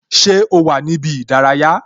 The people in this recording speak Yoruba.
Ṣé o wà ní ibi ìdárayá?